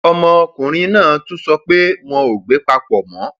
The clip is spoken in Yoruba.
ọmọkùnrin náà tún sọ pé wọn ò gbé papọ mọ